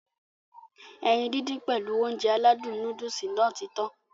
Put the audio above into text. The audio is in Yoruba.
Ẹyin dídín pèlu Ounjẹ aládùn nóódùsì Nàá ti tan